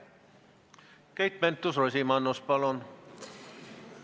Keit Pentus-Rosimannus, palun!